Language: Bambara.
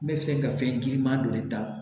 N bɛ fɛ ka fɛn giriman dɔ de ta